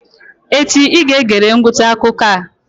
Echi I ga-egere ngwụcha akụkọ a!